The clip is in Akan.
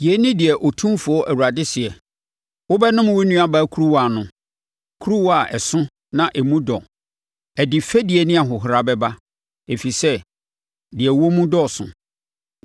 “Yei ne deɛ Otumfoɔ Awurade seɛ: “Wobɛnom wo nuabaa kuruwa ano, kuruwa a ɛso na emu dɔ; ɛde fɛdie ne ahohora bɛba, ɛfiri sɛ deɛ ɛwɔ mu dɔɔso.